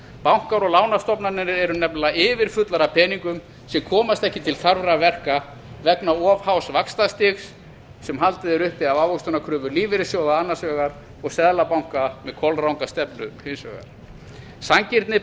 bankar og lánastofnanir eru nefnilega yfirfullar af peningum sem komast ekki til þarfra verka vegna of hás vaxtastigs sem haldið er uppi af ávöxtunarkröfu lífeyrissjóða annars vegar og seðlabanka með kolranga stefnu hins vegar sanngirni